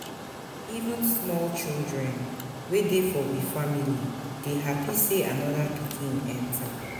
Even small children wey dey for we family dey hapi sey anoda pikin enta.